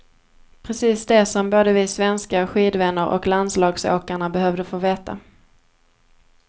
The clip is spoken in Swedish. Precis det som både vi svenska skidvänner och landslagsåkarna behövde få veta.